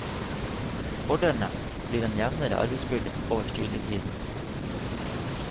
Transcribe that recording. Fordelene blir en jevnere arbeidsbyrde over studietiden.